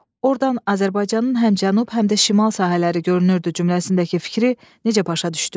Ordan Azərbaycanın həm cənub, həm də şimal sahələri görünürdü cümləsindəki fikri necə başa düşdüz?